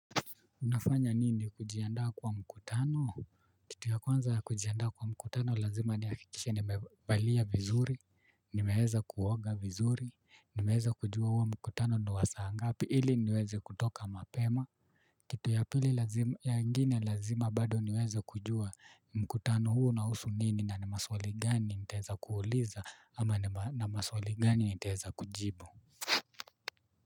Unafanya nini kujiandaa kwa mkutano? Kitu ya kwanza ya kujiandaa kwa mkutano lazima nihakikishe nimevalia vizuri. Nimeweza kuoga vizuri, nimeweza kujua huo mkutano ni wa saangapi ili niweze kutoka mapema. Kitu ya pili nyingine lazima bado niweze kujua mkutano huu unahusu nini na ni maswali gani nitaweza kuuliza ama ni maswali gani nitaweza kujibu.